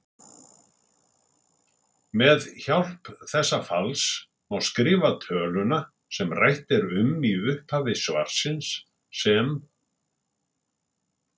Með hjálp þessa falls má skrifa töluna sem rætt er um í upphafi svarsins sem